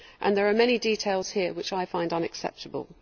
There are many details here which I find unacceptable.